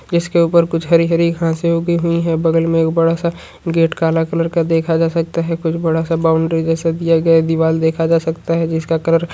इसके ऊपर कुछ हरी-हरी घासें उगी हुई हैं बगल में एक बड़ा सा गेट काला कलर का देखा जा सकता है कुछ बड़ा सा बाउंड्री जेसा दिया गया है दीवाल देखा जा सकता है जिसका कलर --